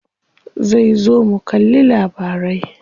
Zai zo mu kalli labarai.